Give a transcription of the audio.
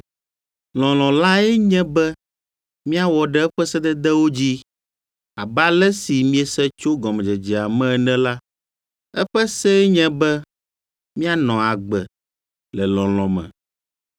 Lɔlɔ̃ lae nye be míawɔ ɖe eƒe sededewo dzi. Abe ale si miese tso gɔmedzedzea me ene la, eƒe see nye be míanɔ agbe le lɔlɔ̃ me.